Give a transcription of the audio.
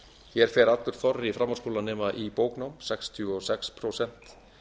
hér fer allur þorri framhaldsskólanema í bóknám sextíu og sex prósent